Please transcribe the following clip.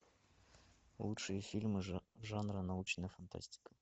лучшие фильмы жанра научная фантастика